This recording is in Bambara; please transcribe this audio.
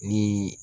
Ni